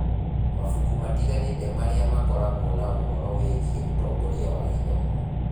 Mabuku matiganĩte marĩa makoragwo na ũhoro wĩgiĩ ũtongoria wa gĩthomo.